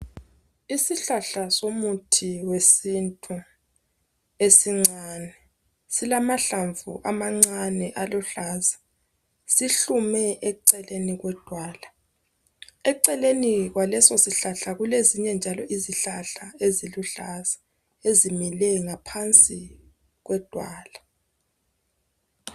Isihlahla somuthi wesintu esincane silamahlamvu amancane aluhlaza. Sihlume eceleni kwedwala. Eceleni kwalesosihlahla kulezinye njalo izihlahla eziluhlaza ezimile ngaphansi kwedwala.